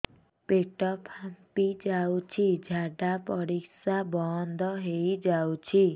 ପେଟ ଫାମ୍ପି ଯାଉଛି ଝାଡା ପରିଶ୍ରା ବନ୍ଦ ହେଇ ଯାଉଛି